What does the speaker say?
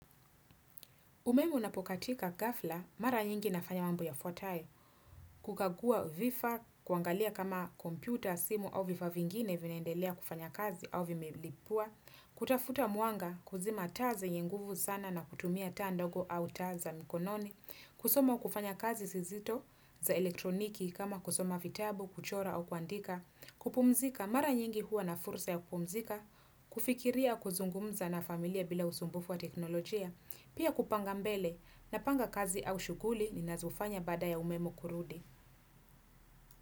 Umeme unapokatika ghafla, mara nyingi nafanya mambo yafwatae, kukagua vifa, kuangalia kama kompyuta, simu au vifaa vingine vinaendelea kufanya kazi au vimelipua, kutafuta mwanga kuzima taa zenye nguvu sana na kutumia taz ndogo au taa za mikononi, kusoma au kufanya kazi sizito za elektroniki kama kusoma vitabu, kuchora au kuandika, kupumzika, mara nyingi huwa na fursa ya kupumzika, kufikiria kuzungumza na familia bila usumbufu wa teknolojia, Pia kupanga mbele napanga kazi au shughuli ninazofanya baada ya umemo kurudi.